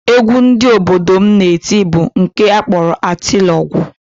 Egwu ndị obodo m na-eti bụ nke a kpọrọ atịlọgwụ